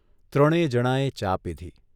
ત્રણેય જણાંએ ચા પીધી.